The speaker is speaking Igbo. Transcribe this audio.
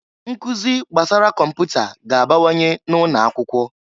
Nkụzị gbasara kọmputa ga-abawanye n'ụnọ akwụkwọ.